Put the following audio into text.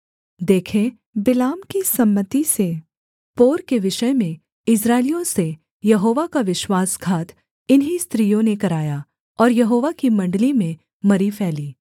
देखे बिलाम की सम्मति से पोर के विषय में इस्राएलियों से यहोवा का विश्वासघात इन्हीं स्त्रियों ने कराया और यहोवा की मण्डली में मरी फैली